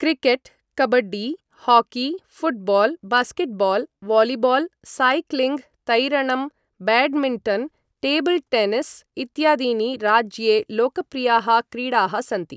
Cricket, kabaddi, hockey, football, basketball, volleyball, cycling, तैरणं, badminton, table tennis इत्यादीनि राज्ये लोकप्रियाः क्रीडाः सन्ति ।